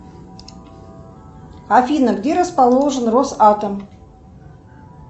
афина где расположен росатом